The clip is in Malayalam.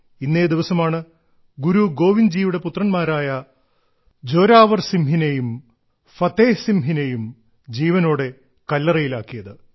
ഇന്നേ ദിവസമാണ് ഗുരു ഗോവിന്ദ്ജിയുടെ പുത്രന്മാരായ ജോരാവർ സിംഹിനെയും ഫത്തേഹ് സിംഹിനെയും ജീവനോടെ കല്ലറയിലാക്കിയത്